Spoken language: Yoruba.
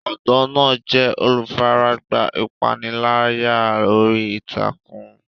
Ọ̀dọ́ náà jẹ́ olùfaragbá ìpániláyà orí ìtàkùn.